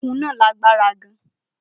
Okùn náà lágbára gan-an